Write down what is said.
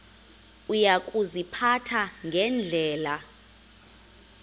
uya kuziphatha ngendlela